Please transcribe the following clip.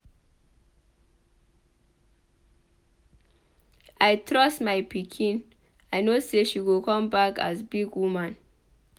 I trust my pikin I no say she go come back as big woman.